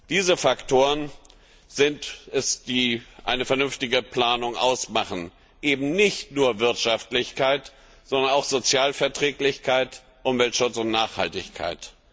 Diese Faktoren sind es, die eine vernünftige Planung ausmachen, eben nicht nur Wirtschaftlichkeit, sondern auch Sozialverträglichkeit, Umweltschutz und Nachhaltigkeit.